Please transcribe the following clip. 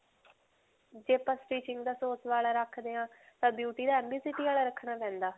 ਜੇ ਆਪਾਂ stitching ਦਾ ਵਾਲਾ ਰਖਦੇ ਹਾਂ ਤਾਂ beauty ਦਾ ਵਾਲਾ ਰਖਣਾ ਪੈਂਦਾ?